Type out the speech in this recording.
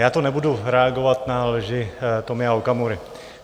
Já tu nebudu reagovat na lži Tomia Okamury.